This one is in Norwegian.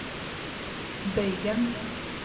bøygen